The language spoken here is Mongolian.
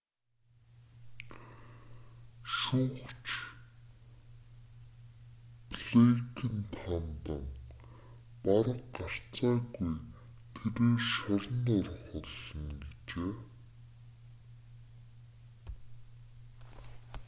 шүүгч блэйкэнд хандан бараг гарцааргүй тэрээр шоронд орох болно гэжээ